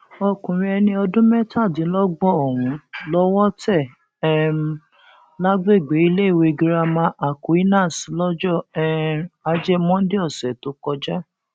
ọkùnrin ẹni ọdún mẹtàdínlọgbọn ọhún lowó tẹ um lágbègbè iléèwé girama aquinas lọjọ um ajé monde ọsẹ tó kọjá